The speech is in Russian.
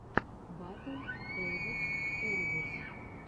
батл эвойс эребус